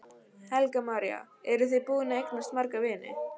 Helga María: Eru þið búin að eignast marga vini?